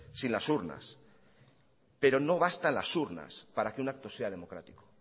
sin las urnas pero no bastan las urnas para que un acto sea democrático